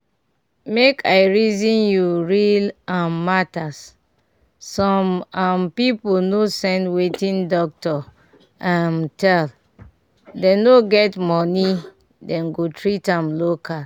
make i reason you real um matters some um people no send wertting doctor um tell dem no get money dem go treat am local.